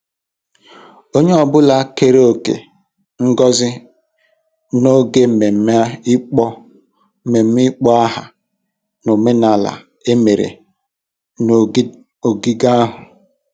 Onye ọ bụla keere òkè ngozi n'oge mmemme ịkpọ mmemme ịkpọ aha omenala emere n'ogige ahụ.